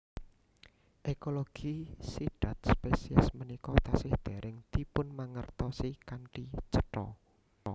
Ekologi sidhat spesies punika tasih dèrèng dipunmangertosi kanthi cetha